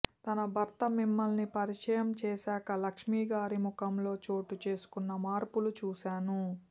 తన భర్త మిమ్మల్ని పరిచయం చేసాక లక్ష్మిగారి ముఖంలో చోటుచేసుకున్న మార్పులు చూసాను